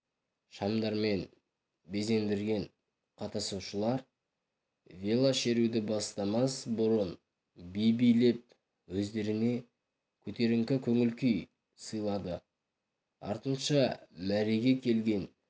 шамдармен безендірген қатысушылар велошеруді бастамас бұрын би билеп өздеріне көтеріңкі көңіл-күй сыйлады артынша мәреге келген